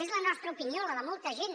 és la nostra opinió la de molta gent